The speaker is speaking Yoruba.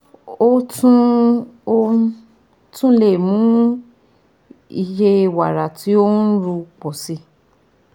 O tun O tun le mu iye wara ti o nru pọ si